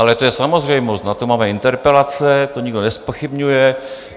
Ale to je samozřejmost, na to máme interpelace, to nikdo nezpochybňuje.